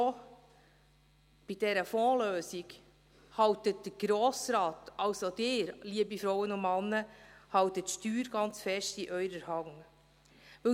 Bei dieser Fondslösung hält der Grosse Rat, also Sie, liebe Frauen und Männer, behalten Sie das Steuer ganz fest in Ihrer Hand.